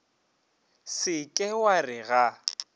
se ke wa re ga